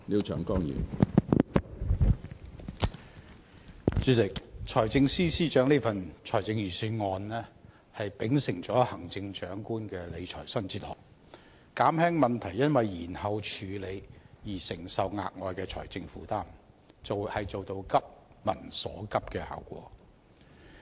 主席，財政司司長這份財政預算案秉承了行政長官的理財新哲學，減輕問題因延後處理而承受的額外財政負擔，做到"急民所急"的效果。